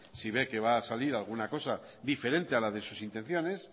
si ve que va a salir alguna cosa diferente a la de sus intenciones